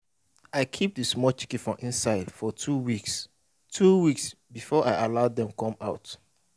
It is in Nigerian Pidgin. i keep the small chicken for inside for two weeks two weeks before i allow dem come out